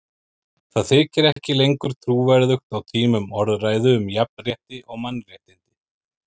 Það þykir ekki lengur trúverðugt á tímum orðræðu um jafnrétti og mannréttindi.